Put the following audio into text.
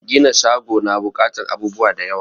Gina shago na buƙatan abubuwa da yawa